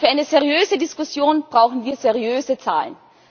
Für eine seriöse Diskussion brauchen wir seriöse Zahlen.